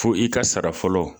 Fo i ka sara fɔlɔ